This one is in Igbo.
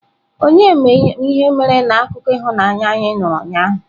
Onye ma ihe mere na akụkọ ịhụnanya anyị nụrụ ụnyaahụ?